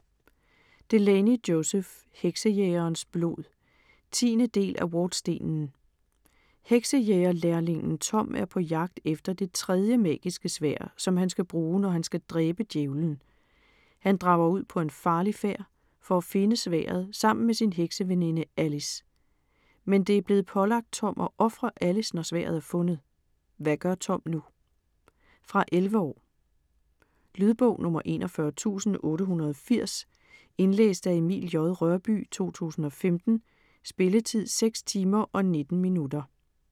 Delaney, Joseph: Heksejægerens blod 10. del af Wardstenen. Heksejæger-lærlingen Tom er på jagt efter det tredje magiske sværd, som han skal bruge, når han skal dræbe Djævelen. Han drager ud på en farlig færd for at finde sværdet sammen med sin hekseveninde, Alice. Men det er blevet pålagt Tom at ofre Alice, når sværdet er fundet. Hvad gør Tom nu? Fra 11 år. Lydbog 41880 Indlæst af Emil J. Rørbye, 2015. Spilletid: 6 timer, 19 minutter.